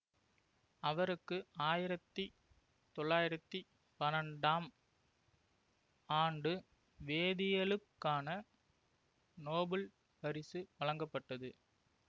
அவருக்கு ஆயிரத்தி தொள்ளாயிரத்தி பன்னெண்டாம் ஆண்டு வேதியியலுக்கான நோபல் பரிசு வழங்கப்பட்டது